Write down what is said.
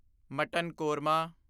mutton korma